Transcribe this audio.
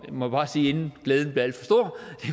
må bare sige inden glæden bliver alt